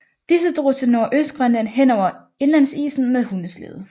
Disse drog til Nordøstgrønland henover indlandsisen med hundeslæde